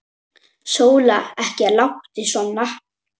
Sóla, ekki láta svona.